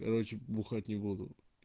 короче бухать не буду